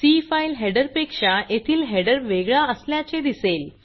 C file header पेक्षा येथील header वेगळा असल्याचे दिसेल